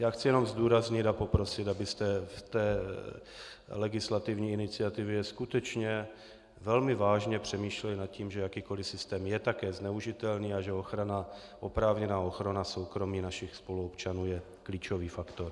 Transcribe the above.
Já chci jenom zdůraznit a poprosit, abyste v té legislativní iniciativě skutečně velmi vážně přemýšleli nad tím, že jakýkoliv systém je také zneužitelný a že oprávněná ochrana soukromí našich spoluobčanů je klíčový faktor.